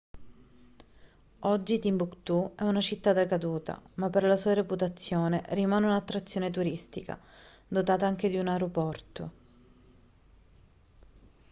oggi timbuktu è una città decaduta ma per la sua reputazione rimane un'attrazione turistica dotata anche di un aeroporto